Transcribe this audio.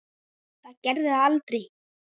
Það gerði það aldrei.